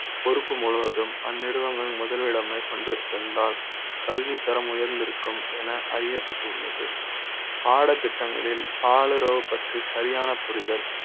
பொறுப்பு முழுவதும் அந்நிறுவன ங்கள் முதலிட மேற்கொண்டிருந்தால் கல்வி தரம் உயர்ந்திருக்கும் என அறிய ப்பட்டுள்ளது பாடத்திட்ட ங்களில் பால் உறவு பற்றி சரியான புரிதல்